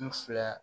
N fila